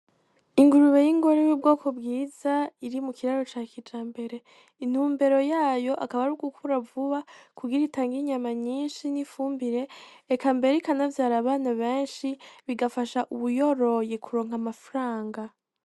Ingurube y'ingore yubwoko bwiza iri mukiraro ca kijambere intumbere yayo akaba ari ugukura vuba kugira itange inyama nyinshi n'ifumbire eka mbere ikanavyra abana benshi bigafasha uwuyoroye kuronka amafaranga.